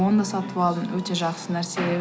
оны да сатып алдым өте жақсы нәрсе